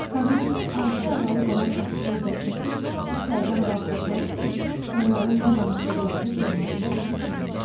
Kabinetin azca aralı qalan qapısını da çəkib içəridən bağladılar ki, onların nə danışdıqlarını biz işçilər eşitməyək.